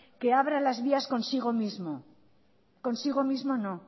que abra las vías consigo mismo consigo mismo no